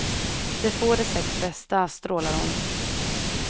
Det får de sex bästa, strålar hon.